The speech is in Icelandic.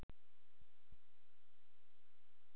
Vík og Hótel Hekla, en helstu veitingastaðir auk hótelanna voru